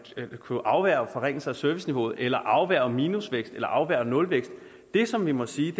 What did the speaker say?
kunne afværge forringelse af serviceniveauet eller afværge minusvækst eller afværge nulvækst det som vi må sige